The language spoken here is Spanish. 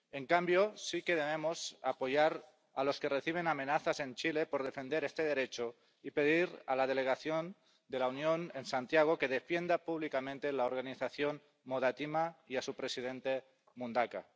En cambio, sí que debemos apoyar a los que reciben amenazas en Chile por defender este derecho y pedir a la delegación de la Unión en Santiago que defienda públicamente la organización Modatima y a su presidente Mundaca.